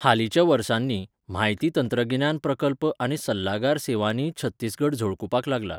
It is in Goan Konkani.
हालींच्या वर्सांनी, म्हायती तंत्रगिन्यान प्रकल्प आनी सल्लागार सेवांनीय छत्तीसगड झळकुपाक लागलां.